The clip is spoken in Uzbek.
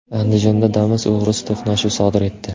Andijonda Damas og‘risi to‘qnashuv sodir etdi.